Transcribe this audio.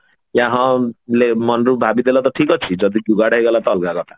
ଯେ ହଁ ମନରୁ ଭାବି ଦେଲ ତ ଠିକ ଅଛି ଯଦି ଯୁଗାଡ ହେଇଗଲା ତ ଅଲଗା କଥା